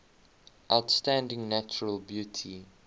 outstanding natural beauty